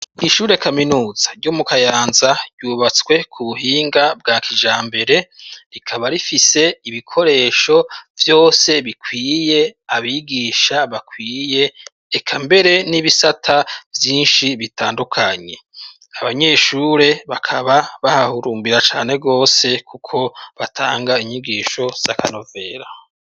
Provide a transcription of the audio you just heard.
Ishure kaminuza ryo mu Kayanza ryubatswe ku buhinga bwa kijambere rikaba rifise ibikoresho vyose bikwiye abigisha bakwiye eka mbere n'ibisata vyinshi bitandukanye abanyeshure bakaba bahahurumbira cane gose kuko batanga inyigisho z'akanovera.